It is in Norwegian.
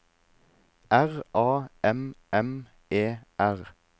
R A M M E R